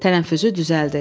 Tənəffüsü düzəldi.